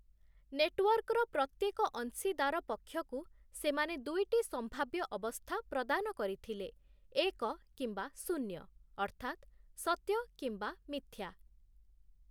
ନେଟୱର୍କର ପ୍ରତ୍ୟେକ ଅଂଶୀଦାର ପକ୍ଷକୁ ସେମାନେ ଦୁଇଟି ସମ୍ଭାବ୍ୟ ଅବସ୍ଥା ପ୍ରଦାନ କରିଥିଲେ, ଏକ କିମ୍ବା ଶୂନ୍ୟ (ଅର୍ଥାତ୍, ସତ୍ୟ କିମ୍ବା ମିଥ୍ୟା) ।